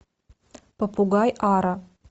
попугай ара